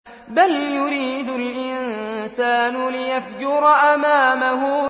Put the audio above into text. بَلْ يُرِيدُ الْإِنسَانُ لِيَفْجُرَ أَمَامَهُ